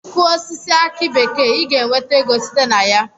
I Kụọ osisi aki bekee I ga enweta ego site na ya.